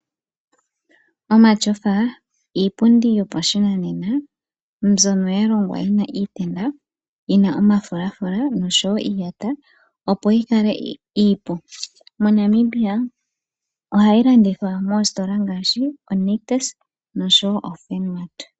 Omatyofa iipundi yopashinanena mbyono yalongwa yina iitenda yina omafulalafula noshowo iiyata opo yikale iipu .mo Namibia ohayi landithwa moositola ngaashi o Nictus oshowo oFurnmart .